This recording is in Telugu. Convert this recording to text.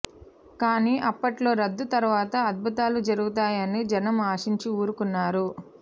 కానీ అప్పట్లో రద్దు తర్వాత అద్భుతాలు జరుగుతాయని జనం ఆశించి ఊరుకున్నారు